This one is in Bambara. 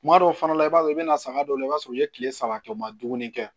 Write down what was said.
Kuma dɔw fana i b'a sɔrɔ i bɛ na saga dɔw la i b'a sɔrɔ u ye tile saba kɛ u ma dumuni kɛ